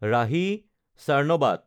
ৰাহি চাৰ্ণবাত